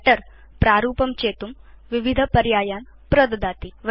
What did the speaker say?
writer प्रारूपं चेतुं विविधपर्यायान् प्रददाति